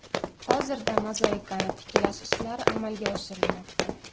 Hozirda mozaikani tiklash ishlari amalga oshirilmoqda.